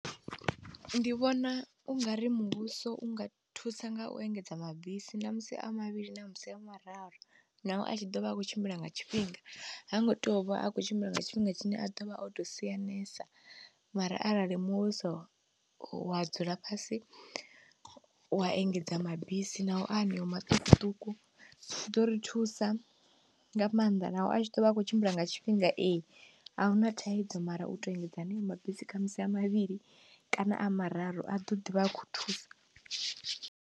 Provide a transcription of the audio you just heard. Ndi vhona ungari muvhuso unga thusa ngau engedza mabisi ṋamusi a mavhili ṋamusi a mararu, naho a tshi ḓovha a khou tshimbila nga tshifhinga hango tea uvha a kho tshimbila nga tshifhinga tshine a ḓovha oto sianesa mara arali muvhuso wa dzula fhasi wa engedza mabisi nao a haneo maṱukuṱuku zwiḓo ri thusa nga maanḓa, naho a tshi ḓovha a kho tshimbila nga tshifhinga ee, ahuna thaidzo mara u tou engedza haneyo mabisi khamusi a mavhili kana a mararu a ḓo ḓivha a kho thusa.